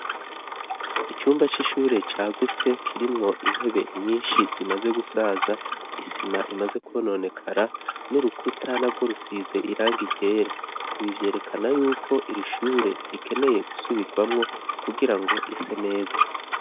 Icumba c'ishure cagutse kirimwo intebe nyinshi zimaze gusaza, isima imaze kwononekara n'urukuta narwo rusize irangi ryera. Ibi vyerekana yuko irishure rikeneye gusubigwamwo kugirango rise neza.